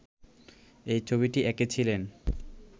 এই ছবিটি এঁকেছিলেন